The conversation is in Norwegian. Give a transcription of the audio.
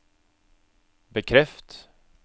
bekreft